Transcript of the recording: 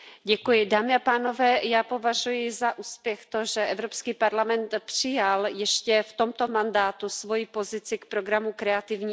Paní předsedající, já považuji za úspěch to, že Evropský parlament přijal ještě v tomto mandátu svoji pozici k programu Kreativní Evropa.